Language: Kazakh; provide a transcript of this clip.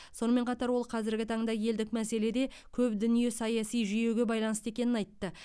сонымен қатар ол қазіргі таңда елдік мәселеде көп дүние саяси жүйеге байланысты екенін айтты